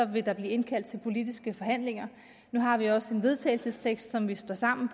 vil der blive indkaldt til politiske forhandlinger nu har vi også en vedtagelsestekst som vi står sammen